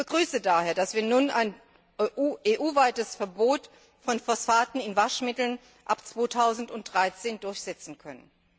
Ich begrüße daher, dass wir nun ein EU weites Verbot von Phosphaten in Waschmitteln ab 2013 durchsetzen können.